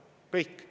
Kõik.